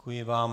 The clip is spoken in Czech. Děkuji vám.